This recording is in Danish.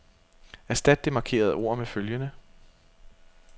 Erstat det markerede ord med følgende.